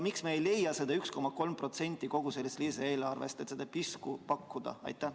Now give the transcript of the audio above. Miks me ei leia seda 1,3% kogu sellest lisaeelarvest, et seda piskut pakkuda?